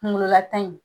Kunkololata in